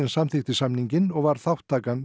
samþykkti samninginn og var þátttakan